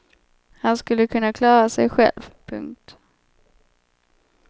Han skulle kunna klara sej själv. punkt